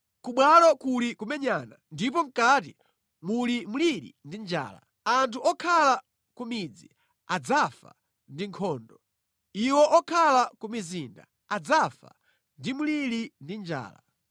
Ku bwalo kuli kumenyana ndipo mʼkati muli mliri ndi njala. Anthu okhala ku midzi adzafa ndi nkhondo. Iwo okhala ku mizinda adzafa ndi mliri ndi njala.